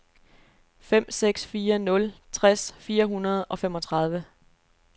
fem seks fire nul tres fire hundrede og femogtredive